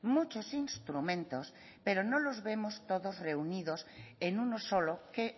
muchos instrumentos pero no los vemos todos reunidos en uno solo que